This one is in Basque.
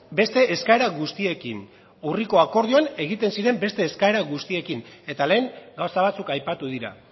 beste eskaera guztiekin urriko akordioan egiten ziren beste eskaera guztiekin eta lehen gauza batzuk aipatu dira